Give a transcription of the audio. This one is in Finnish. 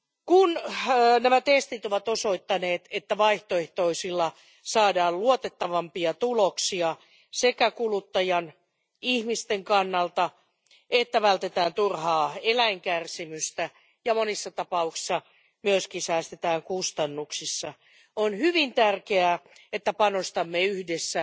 Kun nämä testit ovat osoittaneet, että vaihtoehtoisilla testeillä saadaan luotettavampia tuloksia sekä kuluttajan eli ihmisten kannalta että vältetään turhaa eläinkärsimystä ja monissa tapauksissa myös säästetään kustannuksissa, on hyvin tärkeää, että panostamme yhdessä